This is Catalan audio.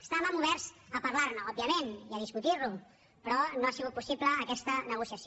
estàvem oberts a parlar ne òbviament i a discutir lo però no ha sigut possible aquesta negociació